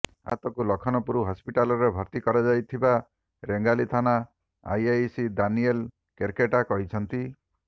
ଆହତଙ୍କୁ ଲଖନପୁର ହସପିଟାଲରେ ଭର୍ତ୍ତି କରାଯାଇଥିବା ରେଙ୍ଗାଲି ଥାନା ଆଇଆଇସି ଦାନିଏଲ କେର୍କେଟା କହିଛନ୍ତି